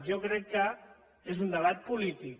jo crec que és un debat polític